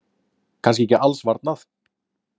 Kannski ekki alls varnað.